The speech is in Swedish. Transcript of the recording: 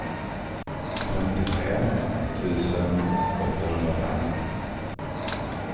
femtiotre tusen åttahundrafem